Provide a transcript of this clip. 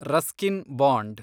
Ruskin bond